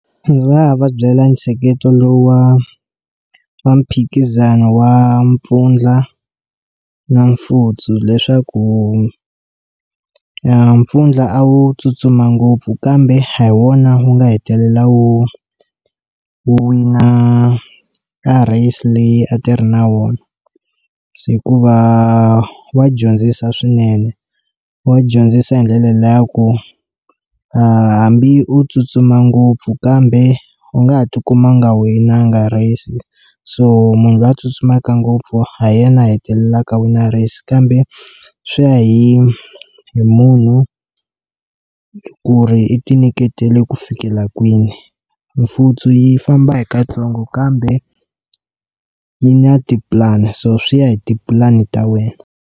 Ndzi nga va byela ntsheketo lowa wa mphikizano wa mpfundla na mfutsu leswaku mpfundla a wu tsutsuma ngopfu kambe a hi wona wu nga hetelela wu wina race leyi a ti ri na wona hikuva wa dyondzisa swinene wa dyondzisa hi ndlela liya ya ku hambi u tsutsuma ngopfu kambe u nga ha tikuma nga winanga race so munhu luya tsutsumaka ngopfu ha yena hetelelaka a wina race kambe swi ya hi hi munhu ku ri i ti nyiketela ku fikela kwini mfutsu yi famba hi katsongo kambe yi na ti plan so swi ya hi tipulani ta wena.